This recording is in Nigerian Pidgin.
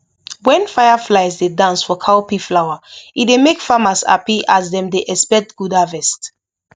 when fireflies dey dance for cowpea flower e dey make farmers happy as dem dey expect good harvest